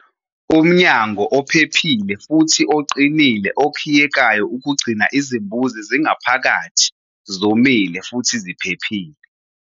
Umnyango ophephile futhi oqinile okhiyekayo ukugcina izimbuzi zingaphakathi, zomile futhi ziphephile.